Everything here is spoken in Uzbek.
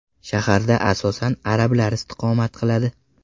Shaharda asosan arablar istiqomat qiladi.